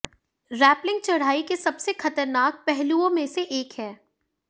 rappelling चढ़ाई के सबसे खतरनाक पहलुओं में से एक है